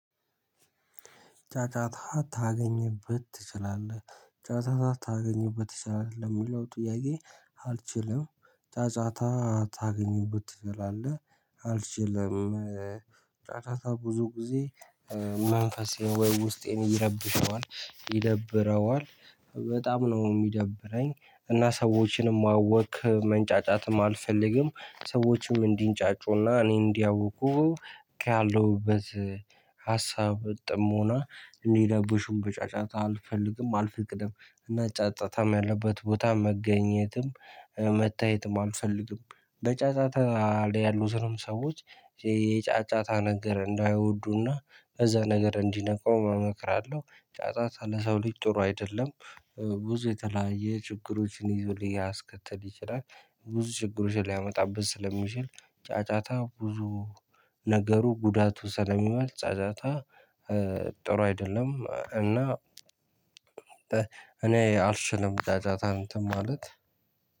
ጫጫታ ታገኝበት ትችላለህ ጫጫታ ታገኝበት ትችላለህ ለሚለው ጥያቄ? አልችልም ጫጫታ ታገኝበት ትችላለህ አልችልም። ጫጫታ ብዙ ጊዜ መንፈሴ ወይ ውስጤን ይረብሸዋል ይደብረዋል። በጣም ነው ሚደብረኝ እና ሰዎችንም ማዋከብ መንጫጫትም አልፈልግም። ሰዎችም እንዲንጫጩና እኔ እንዲያውኩ ካለሁበት ሀሳብ ጥሞና እንዲረብሹም በጫጫታ አልፈልግም አልፈቅድም። እና ጫጫታም ያለበት ቦታ መገኘትም መታየትም አልፈልግም። በጫጫታ ያሉትንም ሰዎች የጫጫታ ነገር እንዳይወዱና እዛ ነገር እንዲርቁም እመክራለሁ። ጫጫታ ለሰው ልጅ ጥሩ አይደለም። ብዙ የተለያየ ችግሮችን ይዞ ሊያስከትል ይችላል። ብዙ ችግሮችን ሊያመጣብን ስለሚችል። ጫጫታ ብዙ ነገሩ ጉዳቱ ስለሚዋል ጫጫታ ጥሩ አይደለም። እና እኔ አልችልም ጫጫታ እንትን ማለት